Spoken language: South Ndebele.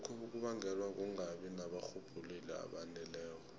lokhu kubangelwa kungabi nabarhubhululi abaneleko